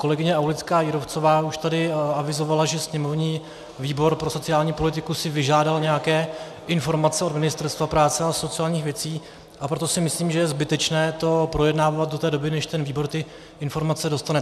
Kolegyně Aulická Jírovcová už tady avizovala, že sněmovní výbor pro sociální politiku si vyžádal nějaké informace od Ministerstva práce a sociálních věcí, a proto si myslím, že je zbytečné to projednávat do té doby, než ten výbor ty informace dostane.